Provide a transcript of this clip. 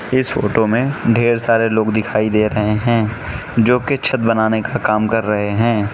इस फोटो में ढेर सारे लोग दिखाई दे रहे हैं जो कि छत बनाने का काम कर रहे हैं।